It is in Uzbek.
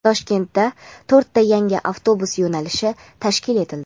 Toshkentda to‘rtta yangi avtobus yo‘nalishi tashkil etildi.